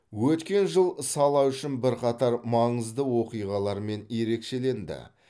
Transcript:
өткен жыл сала үшін бірқатар маңызды оқиғалармен ерекшеленді